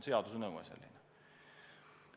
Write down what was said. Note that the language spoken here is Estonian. Seaduse nõue on selline.